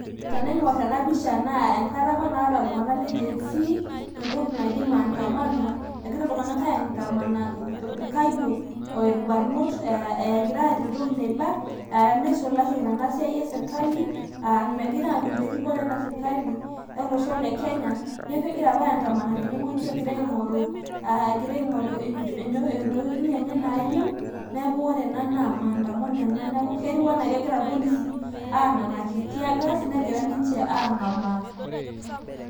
tenaing'or ena pisha naa enkata apa naata iltung'anak le gen z entoki naji maandamano, egira iltunganak aandamana, inkayiok orbanot egira, aata entoki naiba nisulaki tena siai esirkali, aa megira aanyoraa erikore ena sirkali, olosho le kenya, neku kegira apa ayandaman tene wueji egira aing'oru intokiitn enye naayieu, neku ore ena naa maandamano enaketieu anaa kegira irpolisi aanakng'aki teargas negira ninche ang'amaa.